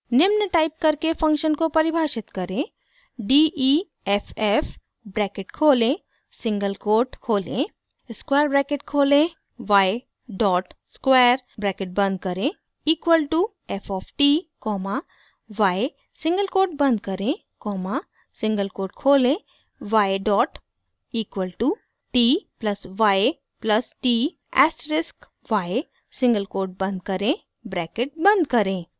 निम्न टाइप करके फंक्शन को परिभाषित करें d e f f bracket खोलें सिंगल कोट खोलें स्क्वायर ब्रैकेट खोलें y डॉट स्क्वायर ब्रैकेट बंद करें equal to f of t comma y single quote बंद करें कॉमा सिंगल कोट खोलें y dot equal to t plus y plus t asterisk y single quote बंद करें bracket बंद करें